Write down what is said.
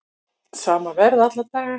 Sama verð alla daga